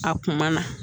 A kuma na